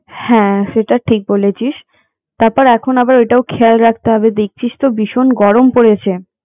হ্যাঁ সেটা ঠিক বলেছিস তারপর আবার এখন ওটাও খেয়াল রাখতে হবে দেখছিস তো ভীষণ গরম পরেছে